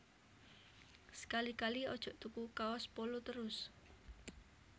Sekali sekali aja tuku kaos Polo terus